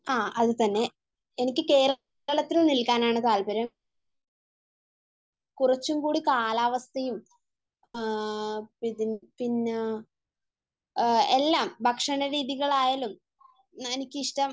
ആഹ് അത് തന്നെ. എനിക്ക് കേരളത്തിൽ നിൽക്കാനാണ് താല്പര്യം. കുറച്ചുകൂടി കാലാവസ്ഥയും ആഹ് പിന്നെ എല്ലാം ഭക്ഷണ രീതികൾ ആയാലും എനിക്ക് ഇഷ്ടം